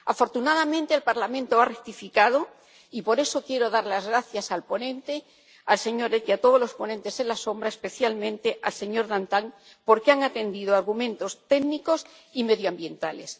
Afortunadamente, el Parlamento ha rectificado y, por eso, quiero dar las gracias al ponente, el señor Eck, y a todos los ponentes alternativos, especialmente al señor Dantin, porque han atendido a argumentos técnicos y medioambientales.